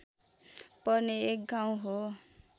पर्ने एक गाउँ हो